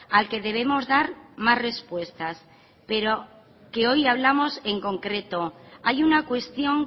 al que debemos dar más respuestas pero que hoy hablamos en concreto hay una cuestión